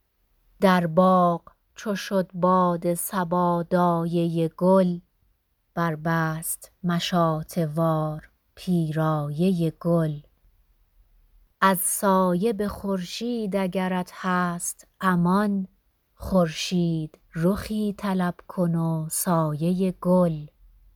در باغ چو شد باد صبا دایه گل بربست مشاطه وار پیرایه گل از سایه به خورشید اگرت هست امان خورشیدرخی طلب کن و سایه گل